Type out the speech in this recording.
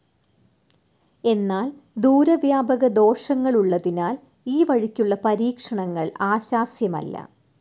എന്നാൽ ദൂരവ്യാപകദോഷങ്ങളുള്ളതിനാൽ ഈ വഴിക്കുള്ള പരീക്ഷണങ്ങൾ ആശാസ്യമല്ല.